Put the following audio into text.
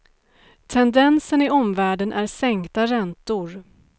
Tendensen i omvärlden är sänkta räntor.